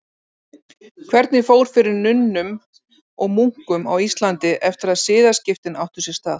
Hvernig fór fyrir nunnum og munkum á Íslandi eftir að siðaskiptin áttu sér stað?